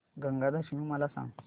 गंगा दशमी मला सांग